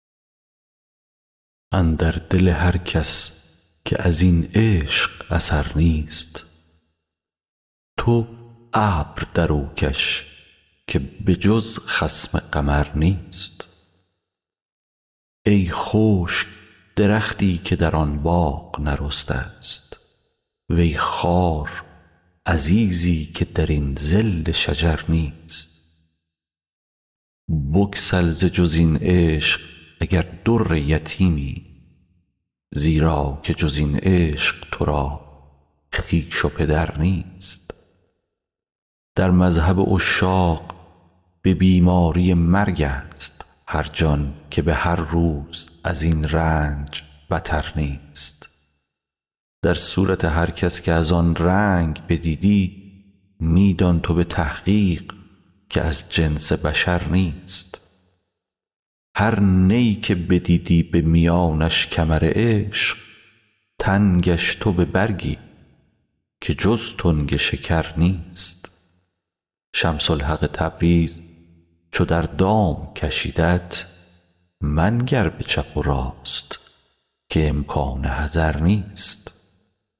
اندر دل هر کس که از این عشق اثر نیست تو ابر در او کش که به جز خصم قمر نیست ای خشک درختی که در آن باغ نرسته ست وی خوار عزیزی که در این ظل شجر نیست بسکل ز جز این عشق اگر در یتیمی زیرا که جز این عشق تو را خویش و پدر نیست در مذهب عشاق به بیماری مرگست هر جان که به هر روز از این رنج بتر نیست در صورت هر کس که از آن رنگ بدیدی می دان تو به تحقیق که از جنس بشر نیست هر نی که بدیدی به میانش کمر عشق تنگش تو به بر گیر که جز تنگ شکر نیست شمس الحق تبریز چو در دام کشیدت منگر به چپ و راست که امکان حذر نیست